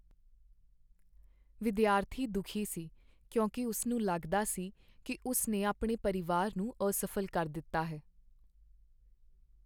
ਵਿਦਿਆਰਥੀ ਦੁਖੀ ਸੀ ਕਿਉਂਕਿ ਉਸਨੂੰ ਲੱਗਦਾ ਸੀ ਕਿ ਉਸ ਨੇ ਆਪਣੇ ਪਰਿਵਾਰ ਨੂੰ ਅਸਫ਼ਲ ਕਰ ਦਿੱਤਾ ਹੈ।